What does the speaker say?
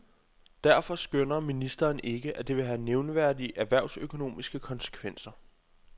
Derfor skønner ministeren ikke, at det vil have nævneværdige erhvervsøkonomiske konsekvenser.